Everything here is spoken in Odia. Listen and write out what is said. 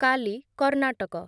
କାଲି , କର୍ଣ୍ଣାଟକ